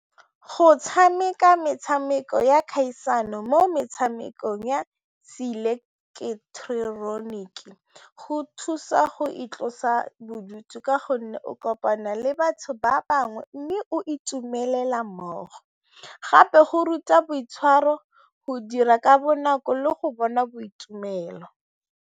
Go tshameka metshameko ya kgaisano mo metshamekong ya seileketeroniki go thusa go itlosa bodutu ka gonne go o kopana le batho ba bangwe mme o itumelela mmogo gape go ruta boitshwaro, go dira ka bonako le go bona boitumelo.